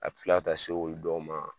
A bi kila ka se olu dɔw ma